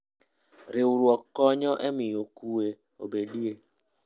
Riwruogno konyo e miyo kuwe obedie.